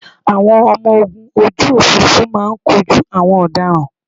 Àwọn ọmọ ogun ojú òfuurufú máa kojú àwọn ọ̀daràn